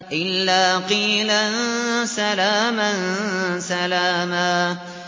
إِلَّا قِيلًا سَلَامًا سَلَامًا